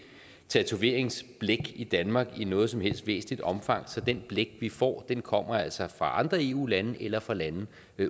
tatoveringsblæk i danmark i noget som helst væsentligt omfang så det blæk vi får kommer altså fra andre eu lande eller fra lande